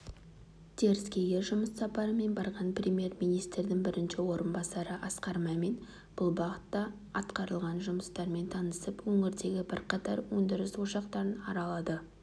теріскейге жұмыс сапарымен барған премьер-министрдің бірінші орынбасары асқар мәмин бұл бағытта атқарылған жұмыстармен танысып өңірдегі бірқатар өндіріс ошақтарын аралады